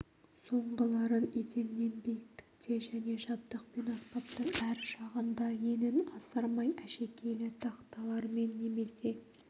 соңғыларын еденнен биіктікте және жабдық пен аспаптың әр жағында енін асырмай әшекейлі тақталармен немесе